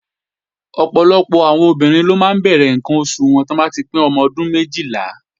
Ọ̀pọ̀lọpọ̀ àwọn ọmọbìnrin ló máa ń bẹ̀rẹ̀ ǹkan oṣù wọn lọ́dún Kejìlá